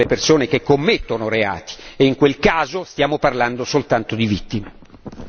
Ma i reati vanno perseguiti con le persone che commettono reati e in quel caso stiamo parlando soltanto di vittime.